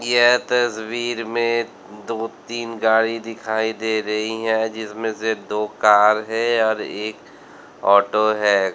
यह तस्वीर में दो तीन गाड़ी दिखाई दे रही है जिसमें से दो कार है और एक ऑटो है।